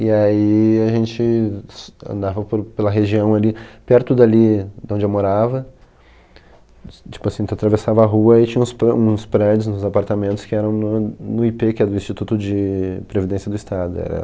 E aí a gente s andava por pela região ali, perto dali de onde eu morava, s tipo assim, atravessava a rua e tinha uns pre uns prédios, uns apartamentos que eram no no í pê, que é do Instituto de Previdência do Estado é